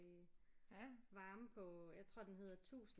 Varme på øh jeg tror den hedder 1000